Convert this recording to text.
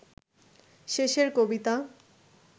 শেষের কবিতা